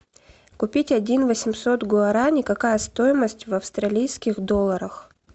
купить один восемьсот гуарани какая стоимость в австралийских долларах